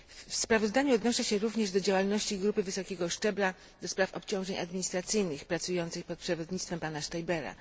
W sprawozdaniu odnoszę się również do działalności grupy wysokiego szczebla do spraw obciążeń administracyjnych, pracującej pod przewodnictwem pana Stäubera.